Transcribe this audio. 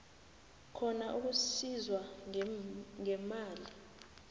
khona ukusizwa ngemali